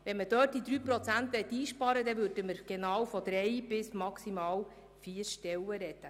Wenn man dort etwas einsparen wollte, würde man von drei bis maximal vier Stellen sprechen.